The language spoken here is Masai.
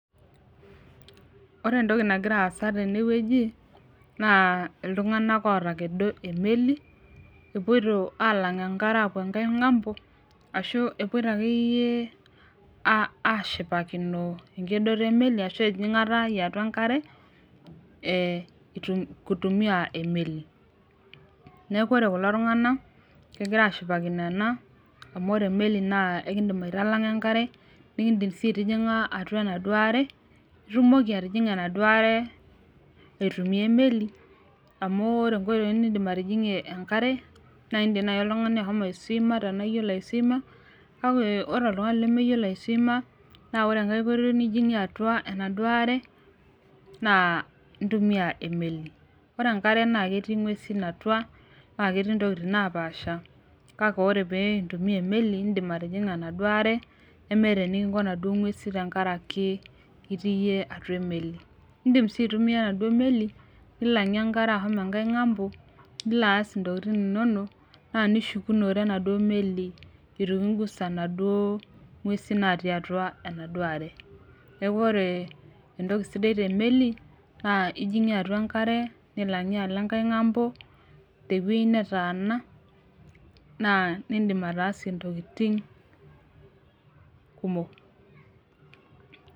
Ore entoki nagira aasa tenewueji naa iltung'anak otakedo emeli epuoito alang enkare aapuo enkae ng'ambo ashu epuoito akeyie ashipakino enkedoto emeli ashu enjing'ata yiatua enkare eh itum kutumia emeli neku ore kulo tung'anak kegira ashipakino ena amu ore emeli naa ekindim aitalang'a enkare naa nikindim sii aitijing'a atua enaduo are itumoki atijing'a enaduo are aitumia emeli amu ore inkoitoi nindium atijing'ie enkare naindim naaji oltung'ani ashomo aeswima tenaa iyiolo aeswima kake ore oltung'ani lemeyiolo aeswima naa ore enkae koitoi nijing'ie atua enaduo are naa intumia emeli ore enkare naa ketii ing'uesin atua naa ketii intokitin napaasha ore pee intumia emeli indim atijing'a enaduo are nemeeta enikinko inaduo ng'uesi tenkaraki itii iyie atua emeli indim sii aitumia enaduo meli nilang'ie enkare ahomo enkae ng'ambo nilo aas intokiting inonok naa nishukunore enaduo meli itu kingusa inaduo ng'uesi natii atua enaduo are neku ore entoki sidai temeli naa ijing'ie atua enkare nilang'ie alo enkae ng'ambo tewuei netaana naa nindim ataasie intokiting kumok.